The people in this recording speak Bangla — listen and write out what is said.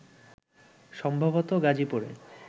সম্ভবত গাজীপুরে